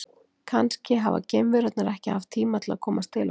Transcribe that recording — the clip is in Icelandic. Kannski hafa geimverurnar ekki haft tíma til að komast til okkar.